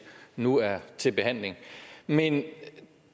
nu er til behandling i men